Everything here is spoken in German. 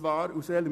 Weshalb dies?